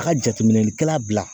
A' ka jateminɛlikɛla bila